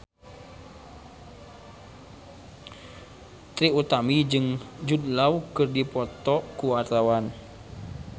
Trie Utami jeung Jude Law keur dipoto ku wartawan